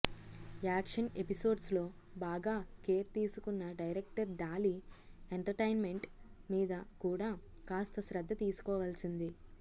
action episodes లో బాగా care తీసుకున్న డైరెక్టర్ డాలీ ఎంటర్టైన్మెంట్ మీద కూడా కాస్త శ్రద్ధ తీసుకోవాల్సింది